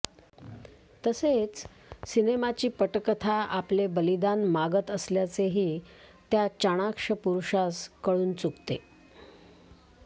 तसेच सिनेमाची पटकथा आपले बलिदान मागत असल्याचेही त्या चाणाक्ष पुरुषास कळून चुकते